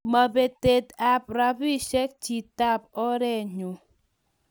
mo betet ab robishe chitap orenyuu.